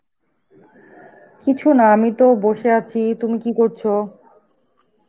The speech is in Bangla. কিছু না, আমি তো বসে আছি. তুমি কি করছ?